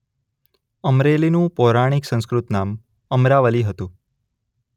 અમરેલીનું પૌરાણીક સંસ્કૃત નામ અમરાવલી હતું.